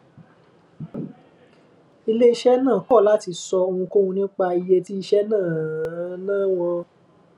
iléiṣẹ náà kò láti sọ ohunkóhun nípa iye tí iṣé náà ná wọn